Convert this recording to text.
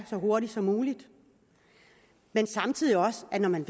så hurtigt som muligt men samtidig også at når man